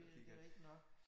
Det det rigtig nok